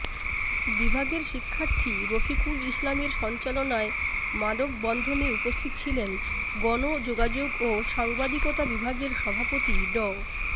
বিভাগের শিক্ষার্থী রফিকুল ইসলামের সঞ্চালনায় মানববন্ধনে উপস্থিত ছিলেন গণযোগাযোগ ও সাংবাদিকতা বিভাগের সভাপতি ড